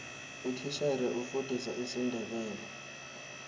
utitjhere ufundisa isindebele